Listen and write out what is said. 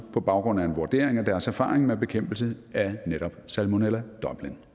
på baggrund af en vurdering af deres erfaring med bekæmpelse af netop salmonella dublin